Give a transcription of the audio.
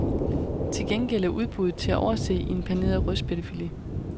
Til gengæld er udbuddet til at overse i en paneret rødspættefilet.